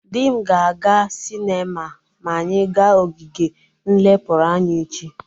Di m ga-aga sinema ma anyị ga ogige nlepụrụ anya echi.